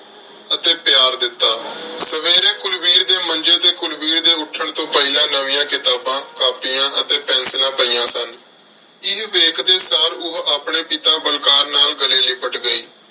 ਅਤੇ ਪਿਆਰ ਦਿੱਤਾ। ਸਵੇਰੇ ਕੁਲਵੀਰ ਦੇ ਮੰਜ਼ੇ ਤੇ ਕੁਲਵੀਰ ਦੇ ਉੱਠਣ ਤੋਂ ਪਹਿਲਾਂ ਨਵੀਆਂ ਕਿਤਾਬਾਂ, ਕਾਪੀਆਂ ਅਤੇ ਪੈਨਸਿਲਾਂ ਪਈਆਂ ਸਨ। ਇਹ ਵੇਖਦੇ ਸਾਰ ਉਹ ਆਪਣੇ ਪਿਤਾ ਬਲਕਾਰ ਨਾਲ ਗਲੇ ਲਿਪਟ ਗਈ।